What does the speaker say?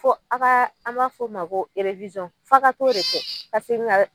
Fɔ a ka an b'a fɔ o ma ko fa ka to de kɛ ka segin ka